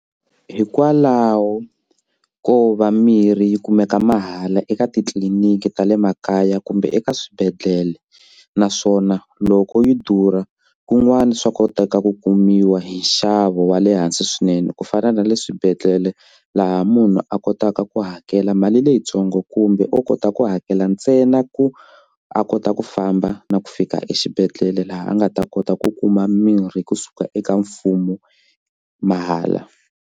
Hikwalaho ko va mirhi yi kumeka mahala eka titliliniki ta le makaya kumbe eka swibedhlele naswona loko yi durha kun'wani swa koteka ku kumiwa hi nxavo wa le hansi swinene ku fana na le swibedhlele laha munhu a kotaka ku hakela mali leyintsongo kumbe o kota ku hakela ntsena ku a kota ku famba na ku fika exibedhlele laha a nga ta kota ku kuma mirhi kusuka eka mfumo mahala.